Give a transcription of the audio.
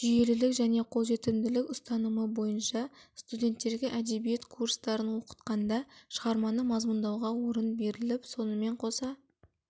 жүйелілік және қол жетімділік ұстанымы бойынша студенттерге әдебиет курстарын оқытқанда шығарманы мазмұндауға орын беріліп сонымен қоса